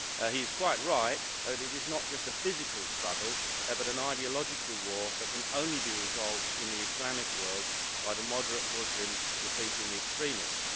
He is quite right that it is not just a physical struggle, but an ideological war that can only be resolved in the Islamic world by the moderate Muslims defeating the extremists.